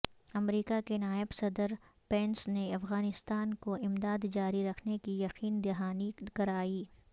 امریکہ کے نائب صدر پینس نے افغانستان کو امداد جاری رکھنے کی یقین دہانی کرائی